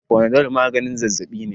Fanadol maganin zazzabi ne